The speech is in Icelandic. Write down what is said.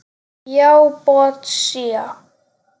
Já, botsía.